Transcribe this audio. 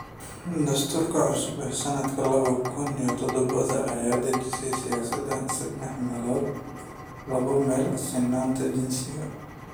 Dastuurka cusub ee sanadka laba kun iyo toban ayaa dejiyay siyaasad saddex meelood labo meel sinaanta jinsiga.